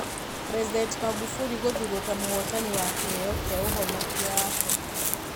President Magufuli gũthuurwo ta mũhootani wa kĩheo kĩa ũhonokio wa Abirika